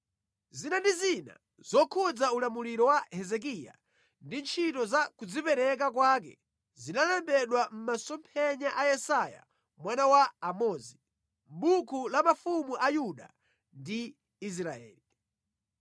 Zina ndi zina zokhudza ulamuliro wa Hezekiya ndi ntchito za kudzipereka kwake zalembedwa mʼmasomphenya a Yesaya mwana wa Amozi, mʼbuku la mafumu a Yuda ndi Israeli.